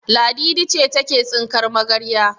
Ladidi ce take tsinkar magarya.